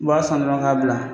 U b'a san dɔrɔn k'a bila